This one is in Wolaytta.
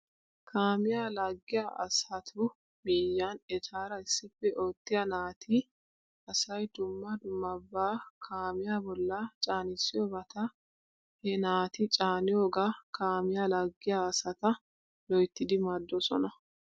Kaamiyaa laaggiyaa asatu miyyiyan etaara issippe oottiyaa naati asay dumma dummabaa kaamiyaa bolla caanissiyoobata he naati caaniyooga kaamiyaa laagiyaa asata loyttidi maaddoosona.